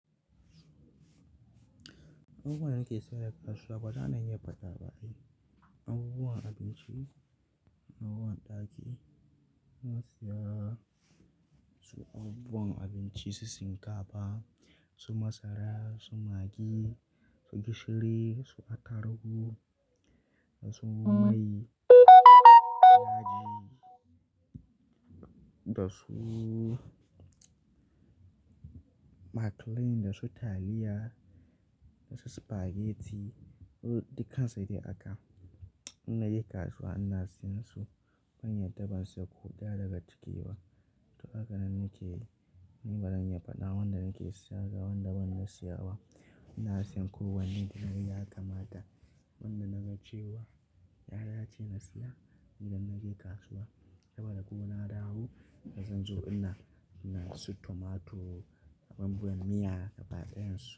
Abubuwan nake saya da kasuwa ba zan iya faɗa ba. Abubuwan abinci na ruwan ɗaki, masu ya, su abubuwan abinci, su shinkafa, su masara, su maggi, su gishiri, su atarugu, da su mai, yaji da suu maclane da su taliya da su spaghetti. Dukansu dai haka. Ina je kasuwa ina siyan su, ban yarda bansu huda daga ciki ba. To haka nan nake, ni ban zan iya faɗa wa wanda nake siya da wanda ban siya ba. Ina siyan ko wanne da ya kamata. Wanda na gajewa, ya dace na siya idan na je kasuwa. Saboda kuma na dawo da zan zo ina, ina siyan su tomato, abin juyen miya da faɗinsu.